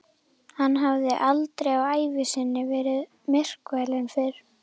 Hann hafði aldrei á ævi sinni verið myrkfælinn fyrr.